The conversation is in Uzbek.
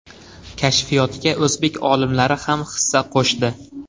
Kashfiyotga o‘zbek olimlari ham hissa qo‘shdi.